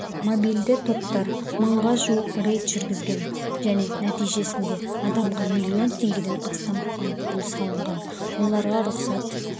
мобильді топтар мыңға жуық рейд жүргізген және нәтижесінде адамға млн теңгеден астам айыппұл салынған оларға рұқсат